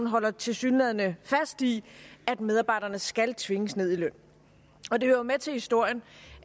holder tilsyneladende fast i at medarbejderne skal tvinges ned i løn og det hører jo med til historien